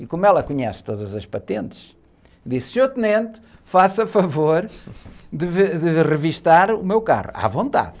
E como ela conhece todas as patentes, disse, senhor tenente, faça favor de ve, de revistar o meu carro, à vontade.